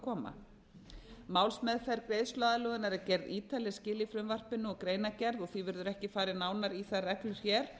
að koma málsmeðferð greiðsluaðlögunar er gerð ítarleg skil í frumvarpinu og greinargerð og því verður ekki farið nánar í þær reglur hér